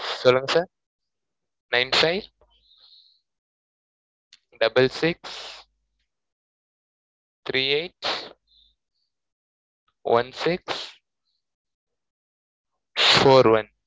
சொல்லுங்க, sir nine five double six three eight one six four one